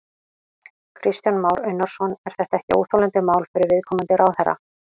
Kristján Már Unnarsson: Er þetta ekki óþolandi mál fyrir viðkomandi ráðherra?